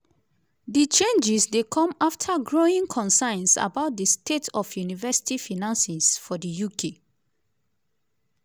di changes dey come afta growing concerns about di state of university finances for di uk.